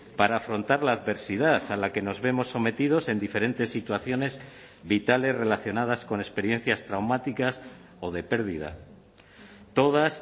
para afrontar la adversidad a la que nos vemos sometidos en diferentes situaciones vitales relacionadas con experiencias traumáticas o de pérdida todas